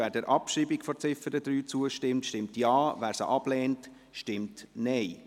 Wer der Abschreibung von Ziffer 3 zustimmt, stimmt Ja, wer sie ablehnt, stimmt Nein.